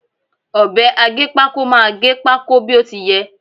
Ọ̀bẹ aggépákó máà gẹ pákó bí ó ti yẹ.